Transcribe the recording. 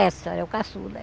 Essa, é o caçula.